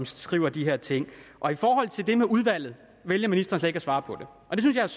skriver de her ting det med udvalget vælger ministeren slet ikke at svare på og det synes jeg